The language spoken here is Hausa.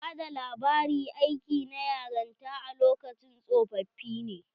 Bada labari aiki na yaranta a lokacin tsofoffi ne.